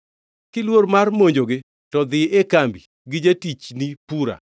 Kiluor mar monjogi, to dhi e kambi gi jatichni Pura